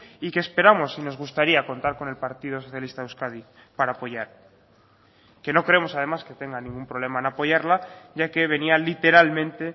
y que esperamos y nos gustaría contar con el partido socialista de euskadi para apoyar que no creemos además que tenga ningún problema en apoyarla ya que venía literalmente